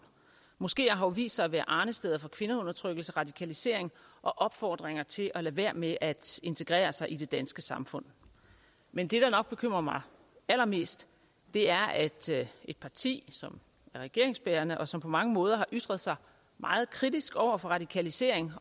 moskeer har jo vist sig at være arnesteder for kvindeundertrykkelse radikalisering og opfordringer til at lade være med at integrere sig i det danske samfund men det der nok bekymrer mig allermest er at et parti som er regeringsbærende og som på mange måder har ytret sig meget kritisk over for radikalisering